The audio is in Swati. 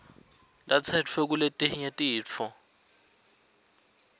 latsetfwe kuletinye titfo